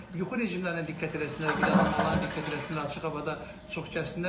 Yuxu rejimlərinə diqqət eləsinlər, qidalanmalarına diqqət eləsinlər, açıq havada çox gəzsinlər.